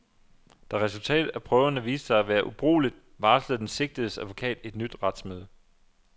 Da resultatet af prøverne viste sig at være ubrugeligt, varslede den sigtedes advokat et nyt retsmøde.